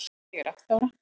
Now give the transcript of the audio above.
Ég er átta ára.